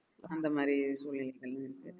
அந்த மாதிரி சூழ்நிலைகள் இருக்கு